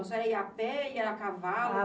A senhora ia a pé, ia a cavalo?